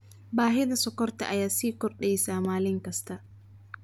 Baahida sonkorta ayaa sii kordheysa maalin kasta.